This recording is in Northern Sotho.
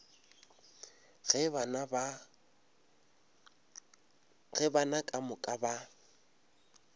ge bana ka moka ba